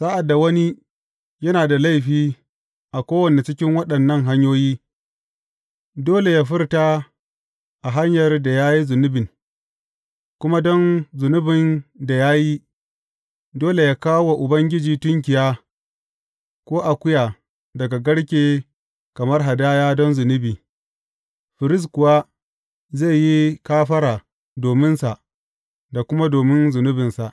Sa’ad da wani yana da laifi a kowanne cikin waɗannan hanyoyi, dole yă furta a hanyar da ya yi zunubin kuma don zunubin da ya yi, dole yă kawo wa Ubangiji tunkiya ko akuya daga garke kamar hadaya don zunubi; firist kuwa zai yi kafara dominsa da kuma domin zunubinsa.